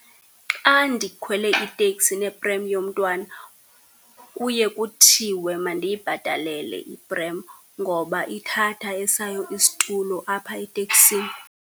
Xa ndikhwele iteksi neprem yomntwana kuye kuthiwe mandiyibhatalele iprem, ngoba ithatha esayo isitulo apha eteksini.